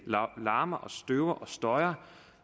larmer og støver og støjer